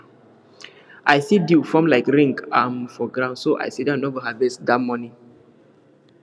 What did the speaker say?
i see dew form like ring um for ground so i sidon no go harvest that morning